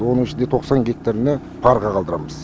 оның ішінде тоқсан гектарына парға қалдырамыз